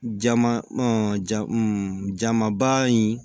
Jama ja jamanba in